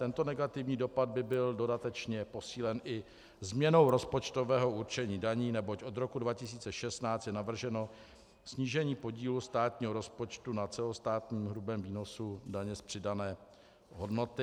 Tento negativní dopad by byl dodatečně posílen i změnou rozpočtového určení daní, neboť od roku 2016 je navrženo snížení podílu státního rozpočtu na celostátním hrubém výnosu daně z přidané hodnoty.